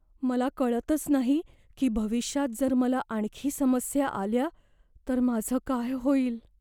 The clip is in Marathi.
मला कळतच नाही की भविष्यात जर मला आणखी समस्या आल्या तर माझं काय होईल.